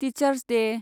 teachers Day